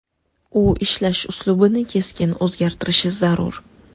U ishlash uslubini keskin o‘zgartirishi zarur.